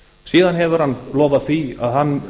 síðan hefur hann lofaði hann